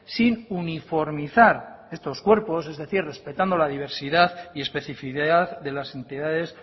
sin uniformizar estos cuerpos es decir respetando la diversidad y especificidad de las entidades